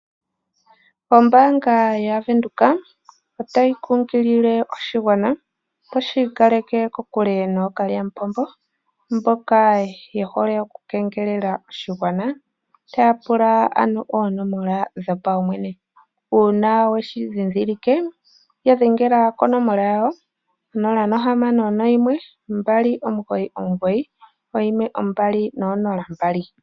Ombaanga yaVenduka otayi kunkilile oshigwana opo shi ikaleke kokule nookalya mupombo mboka yehole oku kengelela oshigwana taya pula ano oonomola dhopaumwene uuna weshi ndhindhilike ya dhengela konomola yawo 0612991200